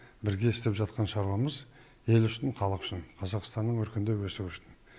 бірге істеп жатқан шаруамыз ел үшін халық үшін қазақстанның өркендеп өсуі үшін